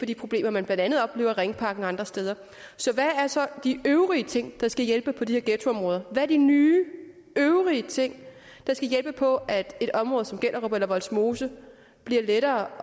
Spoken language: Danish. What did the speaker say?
de problemer man blandt andet oplever i ringparken og andre steder så hvad er så de øvrige ting der skal hjælpe på de her ghettoområder hvad er de nye øvrige ting der skal hjælpe på at et område som gellerup eller vollsmose bliver lettere